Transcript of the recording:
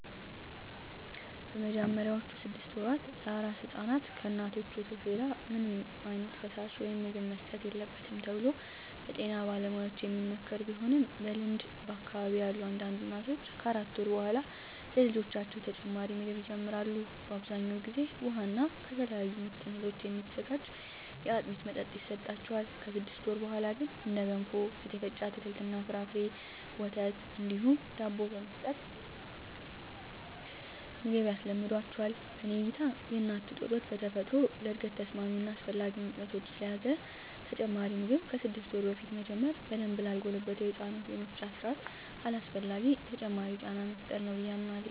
በመጀመሪያዎቹ ስድስት ወራ ለአራስ ሕፃናት ከእናቶች ወተት ሌላ ምንም ዓይነት ፈሳሽ ወይም ምግብ መሰጠት የለበትም ተብሎ በጤና ባለሙያዎች የሚመከር ቢሆንም በልምድ በአካባቢየ ያሉ አንዳንድ እናቶች ከአራት ወር በኃላ ለልጆቻቸው ተጨማሪ ምግብ ይጀምራሉ። በአብዛኛው ጊዜ ውሃ እና ከተለያዩ ምጥን እህሎች የሚዘጋጅ የአጥሚት መጠጥ ይሰጣቸዋል። ከስድስት ወር በኀላ ግን እንደ ገንፎ፣ የተፈጨ አትክልት እና ፍራፍሬ፣ ወተት እንዲሁም ዳቦ በመስጠት ምግብ ያስለምዷቸዋል። በኔ እይታ የእናት ጡት ወተት በተፈጥሮ ለእድገት ተስማሚ እና አስፈላጊ ንጥረነገሮችን ስለያዘ ተጨማሪ ምግብ ከስድስት ወር በፊት መጀመር በደንብ ላልጎለበተው የህፃናቱ የመፍጫ ስርአት አላስፈላጊ ተጨማሪ ጫና መፍጠር ነው ብየ አምናለሁ።